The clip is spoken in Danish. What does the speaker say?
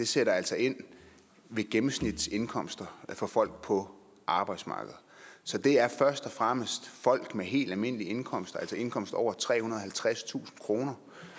sætter altså ind ved gennemsnitsindkomster for folk på arbejdsmarkedet så det er først og fremmest folk med helt almindelige indkomster altså indkomster over trehundrede og halvtredstusind kr